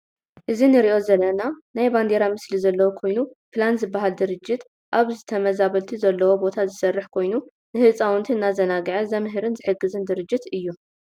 እዚ ንርኦ ዘለና ናይ ባንዴራ ምሰሊ ዘለዎ ኮይኑ ፕላን ዝበሃል ድርጅት አብ ተመዛበልቲ ዘለዎቦታዝሰርሕ ኮይኑ ንህፃውንቲ እናዘናግዐ ዘምህርን ዝሕግዝን ድርጅት እዮ ።